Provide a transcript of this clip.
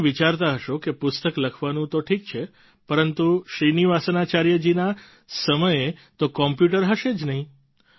તમે વિચારતા હશો કે પુસ્તક લખવાનું તો ઠીક છે પરંતુ શ્રીનિવાસાચાર્ય જી ના સમયે તો કોમ્પ્યુટર હશે જ નહીં